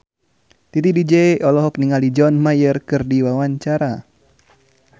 Titi DJ olohok ningali John Mayer keur diwawancara